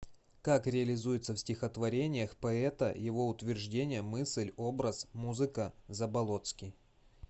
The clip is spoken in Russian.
как реализуется в стихотворениях поэта его утверждение мысль образ музыка заболоцкий